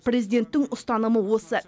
президенттің ұстанымы осы